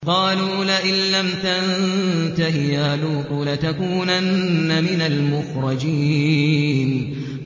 قَالُوا لَئِن لَّمْ تَنتَهِ يَا لُوطُ لَتَكُونَنَّ مِنَ الْمُخْرَجِينَ